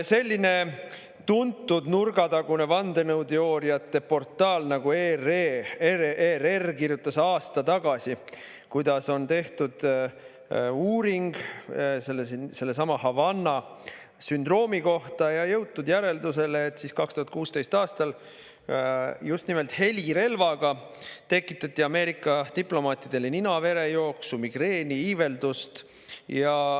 Selline tuntud nurgatagune vandenõuteooriate portaal nagu ERR kirjutas aasta tagasi, kuidas on tehtud uuring sellesama Havanna sündroomi kohta ja on jõutud järeldusele, et 2016. aastal tekitati just nimelt helirelvaga Ameerika diplomaatidel ninaverejooksu, migreeni, iiveldust.